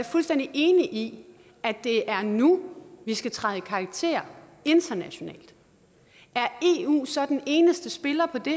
fuldstændig enig i at det er nu vi skal træde i karakter internationalt er eu så den eneste spiller i